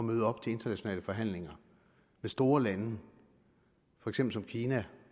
møde op til internationale forhandlinger med store lande for eksempel kina